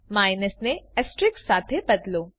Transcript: minus ને asterisk સાથે બદલો